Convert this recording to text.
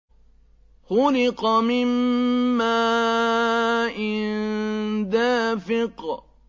خُلِقَ مِن مَّاءٍ دَافِقٍ